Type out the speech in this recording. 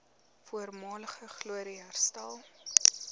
voormalige glorie herstel